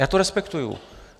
Já to respektuju.